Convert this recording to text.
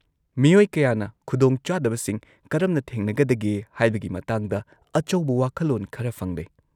-ꯃꯤꯑꯣꯏ ꯀꯌꯥꯅ ꯈꯨꯗꯣꯡꯆꯥꯗꯕꯁꯤꯡ ꯀꯔꯝꯅ ꯊꯦꯡꯅꯒꯗꯒꯦ ꯍꯥꯏꯕꯒꯤ ꯃꯇꯥꯡꯗ ꯑꯆꯧꯕ ꯋꯥꯈꯜꯂꯣꯟ ꯈꯔ ꯐꯪꯂꯦ꯫